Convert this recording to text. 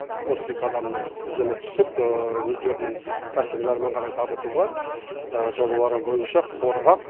отыз екі адамның тізімі түсіп өздерінің кәсібін әрмен қарай дамытуға жобалары бойынша қорғап